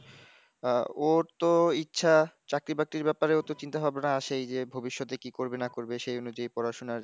ওর তো ইচ্ছা চাকরি বাকরির ব্যাপারে ওতো চিন্তা ভাবনা আছেই যে ভবিষ্যতে কি করবে না করবে সেই অনুযায়ী পড়াশোনার